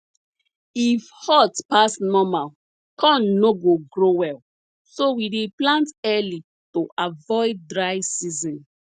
if hot pass normal corn no go grow well so we dey plant early to avoid dry season